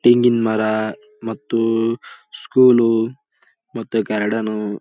ತೆಂಗಿನ ಮರ ಮತ್ತು ಸ್ಕೂಲ್ ಮತ್ತು ಗಾರ್ಡೆನ್ನು --